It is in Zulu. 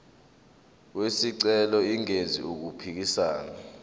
wesicelo engenzi okuphikisana